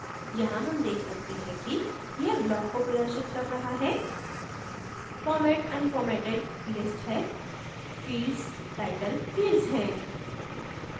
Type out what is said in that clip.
यहाँ हम देख सकते हैं कि यह block को प्रदर्शित कर रहा है format unformatted list है fields title fields हैं